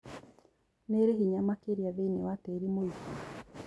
Nĩrĩ hinya makĩria thĩinĩ wa tĩri mũigũ